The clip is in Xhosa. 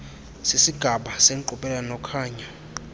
sisigaba senkqubela nokhanyo